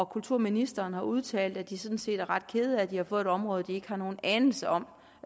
kulturministeren har udtalt at de sådan set er ret kede af at de har fået et område som de ikke har nogen anelse om